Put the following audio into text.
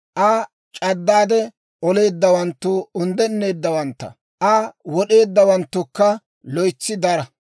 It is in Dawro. Aa c'addaade oleeddawanttu unddeneeddawantta; Aa wod'eeddawanttukka loytsi dara.